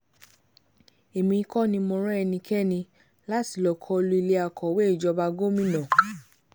èmi kò ní mọ̀ rán ẹnikẹ́ni láti lọ́ọ́ kọ lu ilé akọ̀wé ìjọba gómìnà